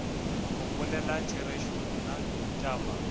go bolela therešo nna taba